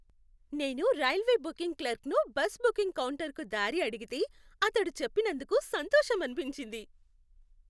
నేను railway booking క్లర్క్ను bus booking కౌంటర్కు దారి అడిగితే అతడు చెప్పినందుకు సంతోషమనిపించింది.